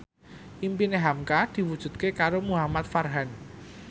impine hamka diwujudke karo Muhamad Farhan